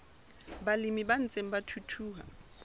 balemi ba ntseng ba thuthuha